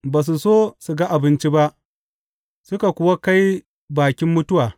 Ba su so su ga abinci ba suka kuwa kai bakin mutuwa.